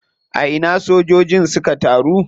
A ina sojojin suka taru?